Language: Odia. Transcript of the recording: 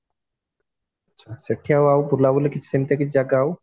ଆଚ୍ଛା ସେଠି ଆଉ ଆଉ ବୁଲା ବୁଲି ସେମଟି କିଛି ଜାଗା ଆଉ